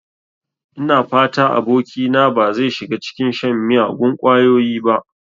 Ina fata abokina ba zai shiga cikin shan miyagun ƙwayoyi ba.